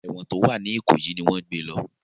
Èwọ̀n tó wà ní ìkòyí ni wọ́n gbé e lọ